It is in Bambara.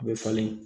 A bɛ falen